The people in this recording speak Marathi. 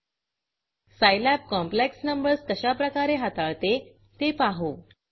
Scilabसाईलॅब कॉम्प्लेक्स नंबर्स कशाप्रकारे हाताळते ते पाहू